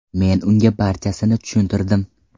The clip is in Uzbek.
Men unga barchasini tushuntirdim.